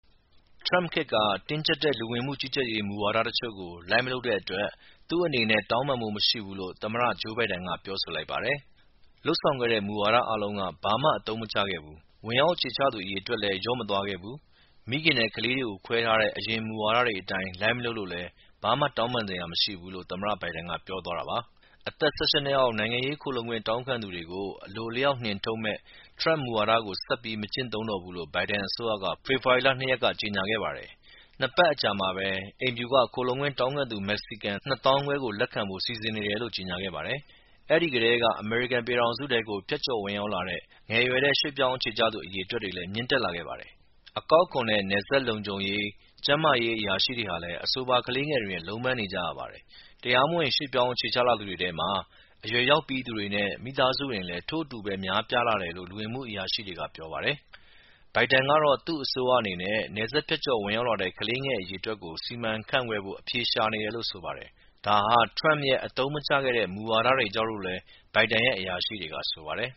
ထရမ့်ခေတ်က တင်းကြပ်တဲ့ လူဝင်မှုကြီးကြပ်ရေး မူဝါဒတချို့ကို လိုက်မလုပ်တဲ့အတွက် သူ့အနေနဲ့ တောင်းပန်ဖို့မရှိဘူးလို့သမ္မတ ဂျိူးဘိုင်ဒန်က ပြောဆိုလိုက်ပါတယ်။ “လုပ်ဆောင်ခဲ့တဲ့ မူဝါဒတွေအားလုံးက ဘာမှ အသုံးမကျခဲ့ဘူး။ ဝင်ရောက်အခြေချသူ အရေအတွက်လည်း ကျမသွားခဲ့ဘူး။ မိခင်တွေနဲ့ကလေးတွေကို ခွဲထားတဲ့ အရင်မူဝါဒတွေ အတိုင်းလိုက်မလုပ်လို့လဲ ဘာမှ တောင်းပန်စရာမရှိဘူး” လို့သမ္မတ ဘိုင်ဒန်က ပြောဆိုသွားတာပါ။ အသက် ၁၈ အောက် နိုင်ငံရေးခိုလှုံခွင့်တောင်းခံသူတွေကို အလိုအလျောက် နှင်ထုတ်မယ့် ထရမ့်မူဝါဒ ဆက်ပြီး မကျင့်သုံးတော့ဘူးလို့ဘိုင်ဒန်အစိုးရက ဖေဖော်ဝါရီလ၂ ရက်က ကြေညာခဲ့ပါတယ်။ နှစ်ပတ်အကြာမှာပဲ အိမ်ဖြူတော်က ခိုလှုံခွင့်တောင်းခံသူ မက္ကဆီကန် ၂၅၀၀၀ ကို လက်ခံဖို့စီစဉ်နေတယ်လို့ကြေညာခဲ့ပါတယ်။ အဲဒီကတည်းက အမေရိကန်ပြည်ထောင်စုထဲကို ဖြတ်ကျော်ဝင်ရောက်လာတဲ့ ငယ်ရွယ်တဲ့ ရွေ့ပြောင်းအခြေချသူ အရေအတွက် မြင့်တက်လာခဲ့ပါတယ်။ အကောက်အခွန်နဲ့နယ်စပ်လုံခြုံရေး၊ ကျန်းမာရေးအရာရှိတွေဟာလည်း အဆိုပါ ကလေးငယ်တွေနဲ့လုံးပမ်းနေရပါတယ်။ တရားမဝင် ရွှေ့ပြောင်းအခြေချလာသူတွေထဲမှာ အရွယ်ရောက်ပြီးသူတွေနဲ့မိသားစုဝင်တွေလည်း ထို့အတူပဲ များပြားလာတယ်လို့ လူဝင်မှုအရာရှိတွေကပြောပါတယ်။ ဘိုင်ဒန်ကတော့ သူ့အစိုးရအနေနဲ့ နယ်စပ်ဖြတ်ကျော်ဝင်ရောက်လာတဲ့ ကလေးငယ်အရေအတွက်ကို စီမံခန့်ခွဲဖို့အဖြေရှာနေတယ်လို့ဆိုပါတယ်။ ဒါဟာ ထရမ့်ရဲ့ အသုံးမကျခဲ့တဲ့ မူဝါဒတွေကြောင့်လို့လည်း ဘိုင်ဒန်ရဲ့ အရာရှိတွေက ဆိုပါတယ်။